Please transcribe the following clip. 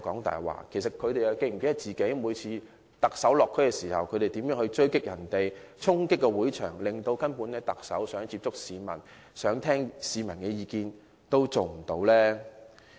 他們又是否記得，他們每次在特首落區時是如何追擊他和衝擊會場，令他根本無法接觸市民或聆聽市民的意見？